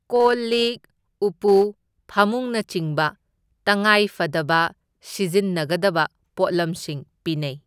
Call ꯂꯤꯛ ꯎꯄꯨ ꯐꯃꯨꯡꯅꯆꯤꯡꯕ ꯇꯉꯥꯏ ꯐꯗꯕ ꯁꯤꯖꯤꯟꯅꯒꯗꯕ ꯄꯣꯠꯂꯝꯁꯤꯡ ꯄꯤꯅꯩ꯫